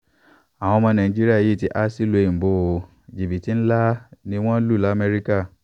àwọn ọmọ nàìjíríà yìí ti há sílùú òyìnbó ó jìbìtì ńlá ni wọ́n lù lamẹ́ríkà